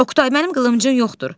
Oqtay, mənim qılıncım yoxdur.